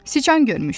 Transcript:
Siçan görmüşdü.